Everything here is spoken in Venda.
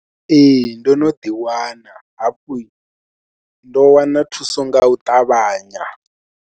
Ee ndo no ḓiwana hafhu ndo wana thuso nga u ṱavhanya.